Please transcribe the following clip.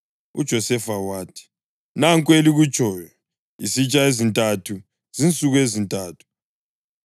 UJosefa wathi, “Nanku elikutshoyo. Izitsha ezintathu zinsuku ezintathu.